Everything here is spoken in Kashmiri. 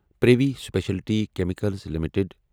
privy speciality chemicals limited